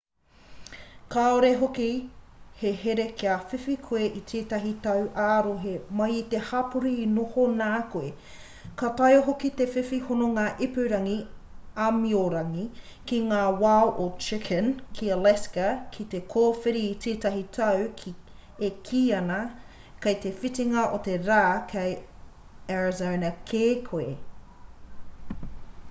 kāore hoki he here kia whiwhi koe i tētahi tau ā-rohe mai i te hapori e noho nā koe ka taea hoki te whiwhi hononga ipurangi āmiorangi ki ngā wao o chicken ki alaska me te kōwhiri i tētahi tau e kī ana kei te whitinga o te rā kei arizona kē koe